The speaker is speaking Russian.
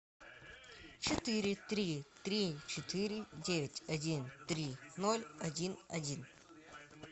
четыре три три четыре девять один три ноль один один